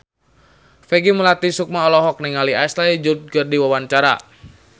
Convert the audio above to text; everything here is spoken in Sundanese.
Peggy Melati Sukma olohok ningali Ashley Judd keur diwawancara